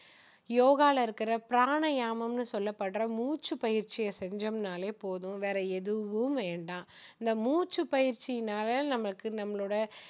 யோகால இருக்கிற பிராணயாமம் சொல்லப்படுற முச்சு பயிற்சியை செஞ்சோம்னாலே போதும் வேற எதுவும் வேண்டாம் இந்த மூச்சு பயிற்சியினால நமக்கு நம்மளோட